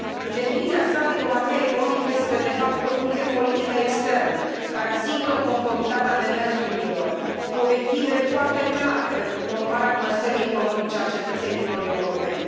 În definiția sa, diplomația economică este, de fapt, o funcție politică externă care asigură conformitatea demersurilor cu obiective foarte clare pentru promovarea bunăstării economice a cetățenilor europeni.